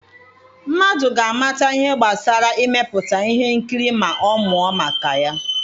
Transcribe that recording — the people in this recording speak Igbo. Mmadụ ga-amata ihe gbasara imepụta ihe nkiri ma ọ mụọ maka ya.